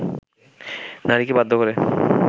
নারীকে বাধ্য করে